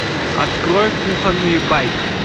открой кухонные байки